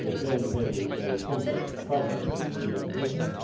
This is a very, very complex problem which we are facing.